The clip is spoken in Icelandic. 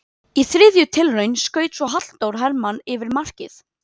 Í þriðju tilraun skaut svo Halldór Hermann yfir markið.